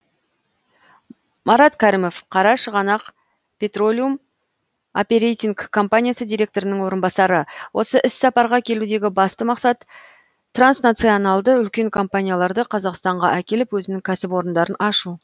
марат кәрімов қарашығанақ петролиум оперейтинг компаниясы директорының орынбасары осы іссапарға келудегі басты мақсат транснационалды үлкен компанияларды қазақстанға әкеліп өзінің кәсіпорындарын ашу